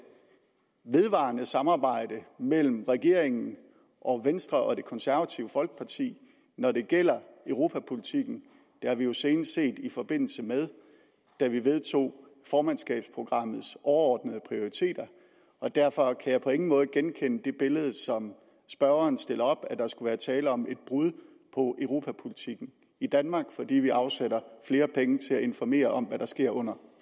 vedvarende samarbejde mellem regeringen og venstre og det konservative folkeparti når det gælder europapolitikken det har vi jo senest set i forbindelse med at vi vedtog formandskabsprogrammets overordnede prioriteter og derfor kan jeg på ingen måde genkende det billede som spørgeren stiller op nemlig at der skulle være tale om et brud på europapolitikken i danmark fordi vi afsætter flere penge til at informere om hvad der sker under